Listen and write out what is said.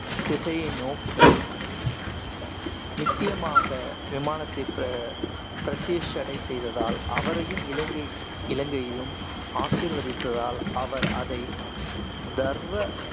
திசையை நோக்கி நித்தியமாக விமானத்தை பிர~ பிரதிஷ்சடை செய்ததால் அவரையும் இலங்கையையும் ஆசீர்வதித்தால், அவர் அதை தர்வ